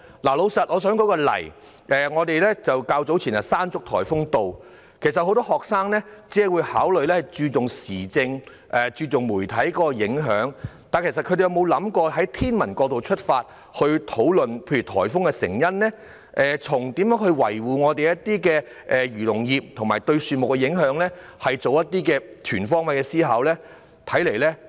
我想舉出一個例子：早前颱風山竹襲港，很多學生只關注颱風對政府施政和媒體的影響，但他們有否作出過全方位思考，例如從天文角度出發討論颱風的成因，或是討論如何維護漁農業，或是討論颱風對樹木的影響呢？